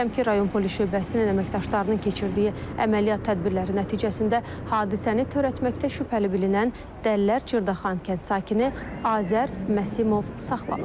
Şəmkir rayon Polis Şöbəsinin əməkdaşlarının keçirdiyi əməliyyat tədbirləri nəticəsində hadisəni törətməkdə şübhəli bilinən Dəllər Cırdaxan kənd sakini Azər Məsimov saxlanılıb.